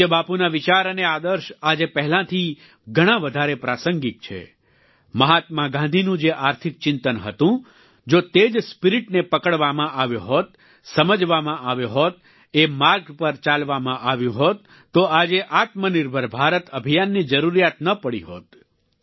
પૂજ્ય બાપૂના વિચાર અને આદર્શ આજે પહેલાંથી ઘણાં વધારે પ્રાસંગિક છે મહાત્મા ગાંધીનું જે આર્થિક ચિંતન હતું જો તે જ સ્પિરિટને પકડવામાં આવ્યો હોત સમજવામાં આવ્યો હોત એ માર્ગ પર ચાલવામાં આવ્યું હોત તો આજે આત્મનિર્ભર ભારત અભિયાનની જરૂરિયાત ન પડી હોત